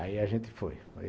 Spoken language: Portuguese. Aí a gente foi.